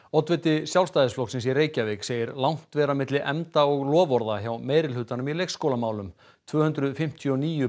oddviti Sjálfstæðisflokksins í Reykjavík segir langt vera milli efnda og loforða hjá meirihlutanum í leikskólamálum tvö hundruð fimmtíu og níu